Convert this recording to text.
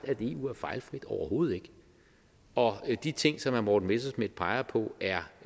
at eu er fejlfrit overhovedet ikke og de ting som herre morten messerschmidt peger på er